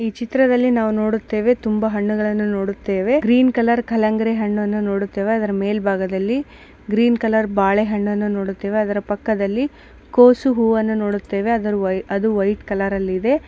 ಈ ಚಿತ್ರದ್ಲಲಿ ನಾವು ನೋಡುತ್ತೇವೆ ತುಂಬಾ ಹಣ್ಣುಗಳ್ಳನು ನೋಡುತ್ತೇವೆ ಗ್ರೀನ್ ಕಲರ್ ಕಲಂಗಿಡಿ ಹಣ್ಣನು ನೋಡುತ್ತೇವೆ ಗ್ರೀನ್ ಕಲರ್ ಬಲೇ ಹಣ್ಣು ನೋಡುತ್ತೇವೆ ಅದರ ಪಕ್ಕದಲ್ಲಿ ಕೋಸು ಹೂವನ್ನು ನೋಡುತ್ತೇವೆ.